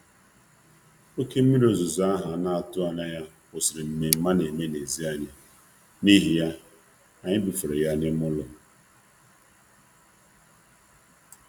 Oké mmiri ozuzo ahụ a na-atụghị anya ya kwụsịrị nmenme a na-eme n'èzí anyị, n'ihi ya, anyị bufere ya n'ime ụlọ.